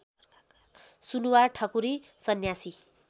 Sunuwar Thakuri Sanyasi